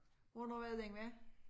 Hvornår er det den var?